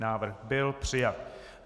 Návrh byl přijat.